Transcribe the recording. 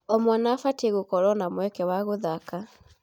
O mwana abatiĩ gũkorwo na mweke wa gũthaka.